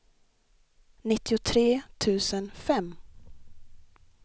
nittiotre tusen fem